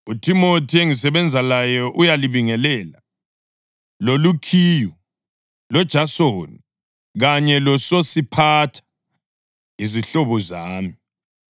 UThimothi, engisebenza laye, uyalibingelela, loLukhiyu, loJasoni kanye loSosiphatha, izihlobo zami.